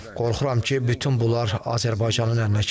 Qorxuram ki, bütün bunlar Azərbaycanın əlinə keçər.